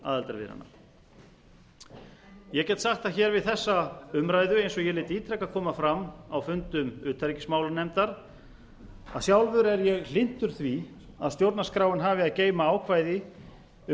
aðildarviðræðna ég get sagt það hér við þessa umræðu eins og ég lét ítrekað koma fram á fundum utanríkismálanefndar að sjálfur er ég hlynntur því að stjórnarskráin hafi að geyma ákvæði um